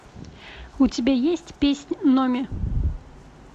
у тебя есть песнь номи